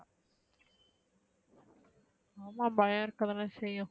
ஆமா பயம் இருக்க தான செய்யும்